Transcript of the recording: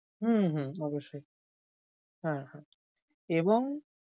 হম হু অবশ্যই। হ্যাঁ হ্যাঁ, এবং